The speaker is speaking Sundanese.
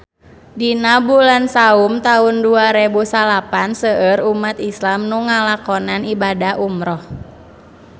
Dina bulan Saum taun dua rebu salapan seueur umat islam nu ngalakonan ibadah umrah